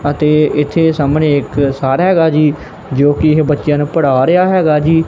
ਅਤੇ ਏੱਥੇ ਸਾਹਮਣੇਂ ਇੱਕ ਸਰ ਹੈਗਾ ਜੀ ਜੋਕਿ ਬੱਚੇਆਂ ਨੂੰ ਪੜ੍ਹਾ ਰਿਹਾ ਹੈਗਾ ਜੀ।